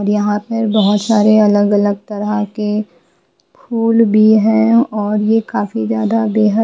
यहाँ पर बहुत सारे अलग-अलग तरह के फूल भी हैऔर ये काफी ज्यादा बेहद--